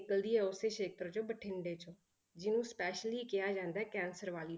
ਨਿਕਲਦੀ ਹੈ ਉਸੇ ਖੇਤਰ ਚੋਂ ਬਠਿੰਡੇ ਚੋਂ, ਜਿਹਨੂੰ specially ਕਿਹਾ ਜਾਂਦਾ ਹੈ ਕੈਂਸਰ ਵਾਲੀ,